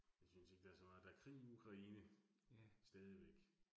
Jeg synes ikke, der er så meget. Der krig i Ukraine, stadigvæk